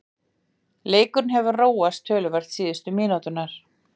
Leikurinn hefur róast töluvert síðustu mínútur.